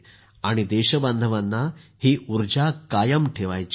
आणि देशबांधवांना ही ऊर्जा कायम ठेवायची आहे